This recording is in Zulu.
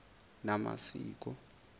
namasiko